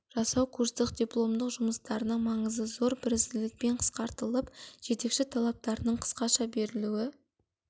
жасау курстық дипломдық жұмыстарының маңызы зор бірізділікпен қысқартылып жетекші талаптарының қысқаша берілуі